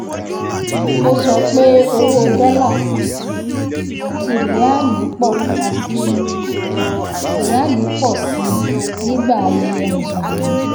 ó sọ pé owó dólà àti ríálì pọ̀ àti ríálì pọ̀ sí i nígbà ayẹyẹ mùsùlùmí.